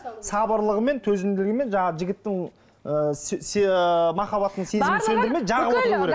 сабырлылығымен төзімділігімен жаңағы жігіттің ы махаббаттың сезімін сөндірмей